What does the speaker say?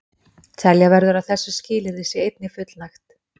Telja verður að þessu skilyrði sé einnig fullnægt.